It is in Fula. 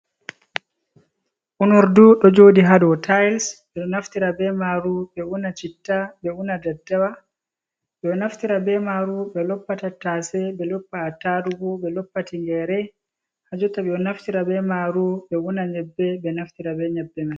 Unordu ɗo jooɗi haa dow tayis , ɓe ɗo naftira be maaru, ɓe una citta, ɓe una daddawa, ɓe ɗo naftira be maaru, ɓe loppa tattase, ɓe loppa atarugu, ɓe loppa tinngeere, haa jotta, ɓe ɗo naftira be maaru, ɓe una nyebbe, ɓe naftira be nyebbe man.